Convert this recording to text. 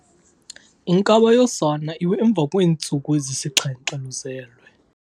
Inkaba yosana iwe emva kweentsuku ezisixhenxe luzelwe.